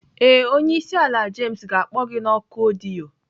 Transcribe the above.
Ee, onye isi ala James ga-akpọ gị na oku ọdịyo.